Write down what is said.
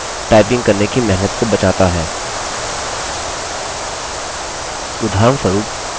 यह लम्बे शब्दों के लिए संक्षिप्त रूप बनाकर टाइपिंग करने की मेहनत को बचाता है